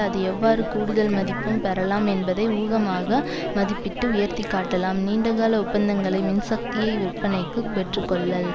அது எவ்வாறு கூடுதல் மதிப்பும் பெறலாம் என்பதை ஊகமாக மதிப்பிட்டு உயர்த்திக்காட்டலாம் நீண்டகால ஒப்பந்தங்களை மின்சக்தியை விற்பனைக்கு பெற்றுக்கொள்ளல்